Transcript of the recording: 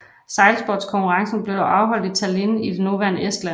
Sejlsportskonkurrencerne blev dog afholdt i Tallinn i det nuværende Estland